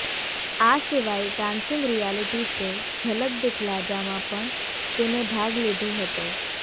આ સિવાય dancing reality show Jhalak Dikhla જામાં પણ તેણે ભાગ લીધો હતો